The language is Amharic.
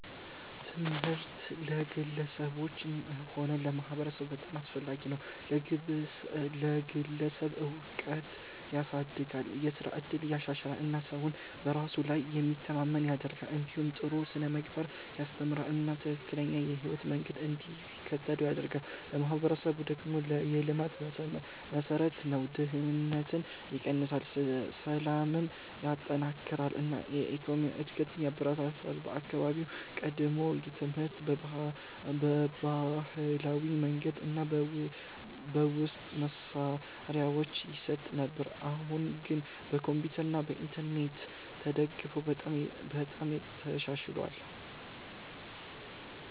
ትምህርት ለግለሰቦችም ሆነ ለማህበረሰብ በጣም አስፈላጊ ነው። ለግለሰብ እውቀትን ያሳድጋል፣ የስራ እድልን ያሻሽላል እና ሰውን በራሱ ላይ የሚተማመን ያደርገዋል። እንዲሁም ጥሩ ስነ-ምግባርን ያስተምራል እና ትክክለኛ የህይወት መንገድ እንዲከተል ይረዳል። ለማህበረሰብ ደግሞ የልማት መሠረት ነው፤ ድህነትን ይቀንሳል፣ ሰላምን ያጠናክራል እና የኢኮኖሚ እድገትን ያበረታታል። በአካባቢዬ ቀድሞ ትምህርት በባህላዊ መንገድ እና በውስን መሳሪያዎች ይሰጥ ነበር፣ አሁን ግን በኮምፒውተር እና በኢንተርኔት ተደግፎ በጣም ተሻሽሏል።